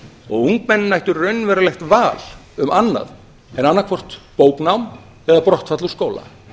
og ungmennin ættu raunverulegt val um annað en bara annaðhvort bóknám eða brottfall úr skóla